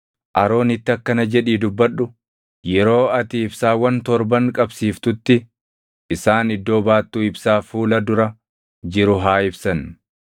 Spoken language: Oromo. “Aroonitti akkana jedhii dubbadhu; ‘Yeroo ati ibsaawwan torban qabsiiftutti isaan iddoo baattuu ibsaa fuula dura jiru haa ibsan.’ ”